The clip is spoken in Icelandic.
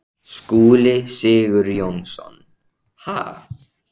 Skúli Sigurjónsson: Ha?